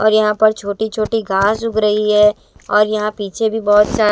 और यहां पर छोटी छोटी घास उग रही है और यहां पीछे भी बहोत सा--